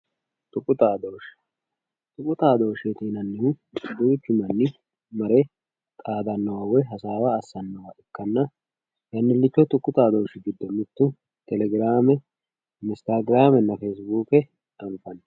tuqu xaadooshshee. tuqu xaadooshsheeti yinannihu duuchu manni mare xaadannowa woy hasaawa assannowa ikkanna tenne giddo tuqu xaadooshshi giddo mittu telegiraame instagiraamena feesibuuke anfanni.